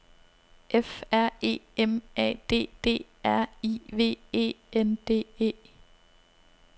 F R E M A D D R I V E N D E